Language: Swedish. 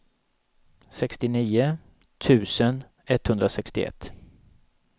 sextionio tusen etthundrasextioett